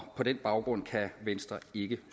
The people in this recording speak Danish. på den baggrund kan venstre ikke